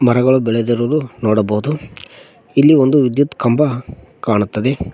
ಮರಗಳು ಬೆಳೆದಿರುವುದು ನೋಡಬಹುದು ಇಲ್ಲಿ ಒಂದು ವಿದ್ಯುತ್ ಕಂಬ ಕಾಣುತ್ತದೆ.